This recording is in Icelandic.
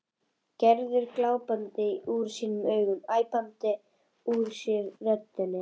Gerður glápandi úr sér augun, æpandi úr sér röddina.